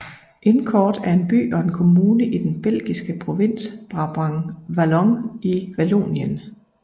Incourt er en by og en kommune i den belgiske provins Brabant Wallon i Vallonien